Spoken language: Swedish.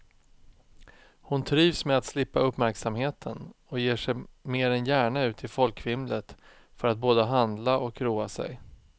Hon trivs med att slippa uppmärksamheten och ger sig mer än gärna ut i folkvimlet för att både handla och roa sig.